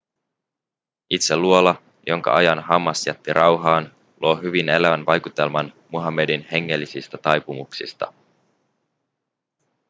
itse luola jonka ajan hammas jätti rauhaan luo hyvin elävän vaikutelman muhammedin hengellisistä taipumuksista